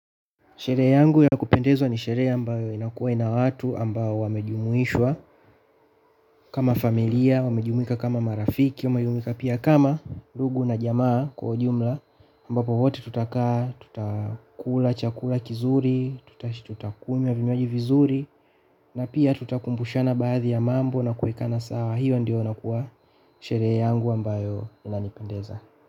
Sherehe yangu ya kupendezwa ni sherehe ambayo inakuwa ina watu ambao wamejumuishwa kama familia, wamejumika kama marafiki, wamejumuika pia kama ndugu na jamaa kwa ujumla ambapo wote tutakaa tutakula chakula kizuri, tutakunywa vinywaji vizuri na pia tutakumbushana baadhi ya mambo na kuekana sawa. Hiyo ndio unakua sherehe yangu ambayo inanipendeza.